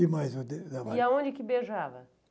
e mais. E aonde que beijava?